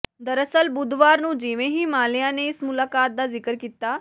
ਦਰਅਸਲ ਬੁੱਧਵਾਰ ਨੂੰ ਜਿਵੇਂ ਹੀ ਮਾਲਿਆ ਨੇ ਇਸ ਮੁਲਾਕਾਤ ਦਾ ਜ਼ਿਕਰ ਕੀਤਾ